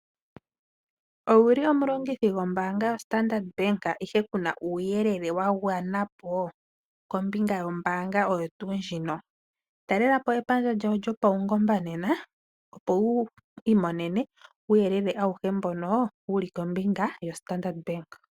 Ngweye omulongithi gwoombanga yo-Standard Bank ihe ku na uuyelele wa gwanapo kombinga yombaanga oyo tuu ndjika? Talelapo epandja lyawo lyopaungomba nena, opo wu imonene uuyelele auhe mboka wu li kombinga yo-Standard Bank.